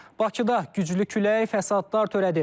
Bakıda güclü külək fəsadlar törədib.